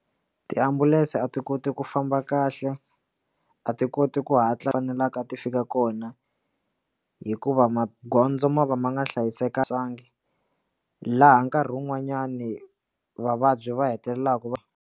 Tiambulense a ti koti ku famba kahle a ti koti ku hatla na la a ti fika kona hikuva magondzo ma va ma nga hlayisekanga laha nkarhi wun'wanyani vavabyi va hetelelaka va.